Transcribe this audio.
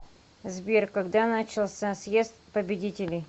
сбер когда начался съезд победителей